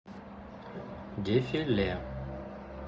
дефи ле